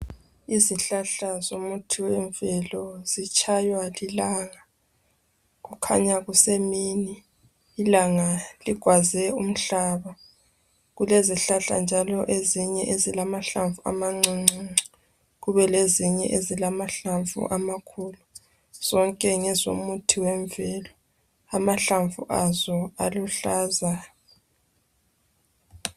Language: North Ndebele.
Izihlahla zomuthi wemvelo zitshaywa lilanga kukhanya kusemini ilanga ligwaze umhlaba kulezihlahla njalo ezinye ezilamahlamvu amancuncuncu kube lezinye ezilamahlamvu amakhulu zonke ngezomuthi emvelo amahlamvu azo aluhlaza.